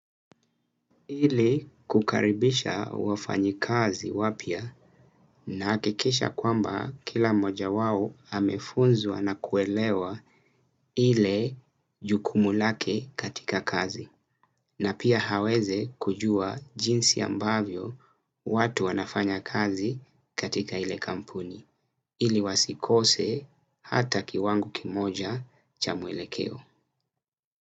Ili kukaribisha wafanyikazi wapya nahakikisha kwamba kila mmoja wao amefunzwa na kuelewa ile jukumu lake katika kazi. Na pia aweze kujua jinsi ambavyo watu wanafanya kazi katika ile kampuni. Ili wasikose hata kiwango kimoja cha mwelekeo.